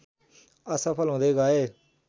असफल हुँदै गए